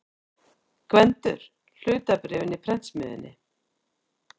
GVENDUR: Hlutabréfin í prentsmiðjunni.